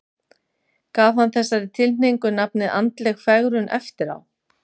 Gaf hann þessari tilhneigingu nafnið andleg fegrun eftir á.